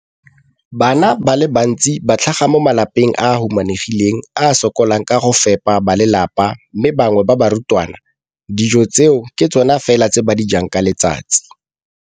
Bana ba le bantsi ba tlhaga mo malapeng a a humanegileng a a sokolang go ka fepa ba lelapa mme ba bangwe ba barutwana, dijo tseo ke tsona fela tse ba di jang ka letsatsi.